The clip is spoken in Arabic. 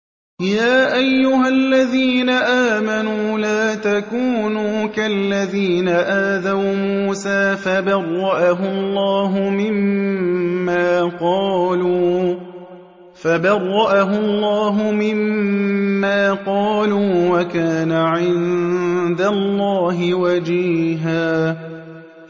يَا أَيُّهَا الَّذِينَ آمَنُوا لَا تَكُونُوا كَالَّذِينَ آذَوْا مُوسَىٰ فَبَرَّأَهُ اللَّهُ مِمَّا قَالُوا ۚ وَكَانَ عِندَ اللَّهِ وَجِيهًا